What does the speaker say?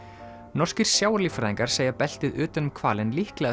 norskir segja beltið utan um hvalinn líklega